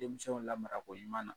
Denmisɛnw lamarako ɲuman na